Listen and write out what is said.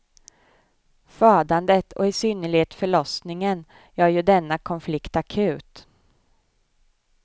Födandet och i synnerhet förlossningen gör ju denna konflikt akut.